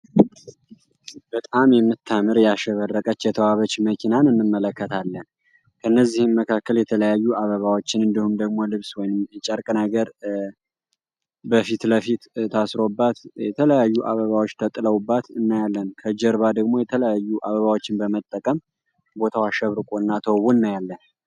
በጣም የምር ያሸበረቀች የተዋበች መኪናን እንመለከታለን። ከእነዚህም መካከል የተለያዩ አበባዎችን እንዲሁም ደግሞ ልብስ ወይም ጨርቅ ነገር በፊት ለፊት ታስሮባት የተለያዩ አበባዎች ተጥሎባት እናያለን። ከጀርባ ደግሞ የተለያዩ አበባዎችን መጠቀም ቦታው አሸብርቀው ተውቦ እናያለን።